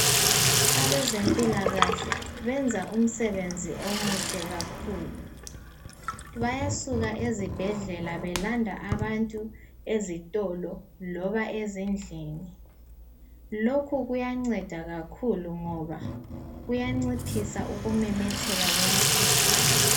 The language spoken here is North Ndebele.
Abezempilakahle benza umsebenzi omuhle kakhulu. Bayasuka ezibhedlela belanda abantu ezitolo loba ezindlini. Lokhu kuyanceda kakhulu ngoba kuyanciphisa ukumemetheka kwemikhuhlane.